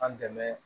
An dɛmɛ